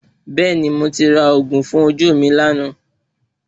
Bẹ́ẹ̀ni, mo ti ra òògùn fún ojú mi lánàá